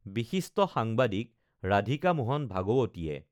বিশিষ্ট সাংবাদিক ৰাধিকা মোহন ভাগৱতীয়ে